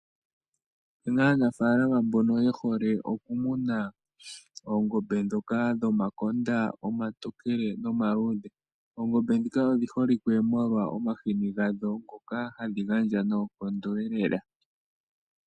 Opuna aanafaalama mbono ye hole oku muna oongombe ndhoka dhomakonda omatookele nomaluudhe. Oongombe ndhika odhi holike molwa omahini gadho ngoka hadhi gandja noonkondo lela.